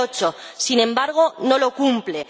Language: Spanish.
2008. Sin embargo, no lo cumple.